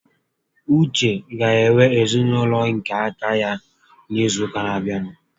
Uche ga-enwe ezinaụlọ nke aka ya n'izu ụka n'abịa